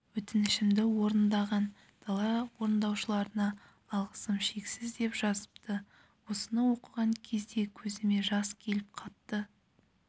өтінішімді орындаған дала орындаушыларына алғысым шексіз деп жазыпты осыны оқыған кезде көзіме жас келіп қатты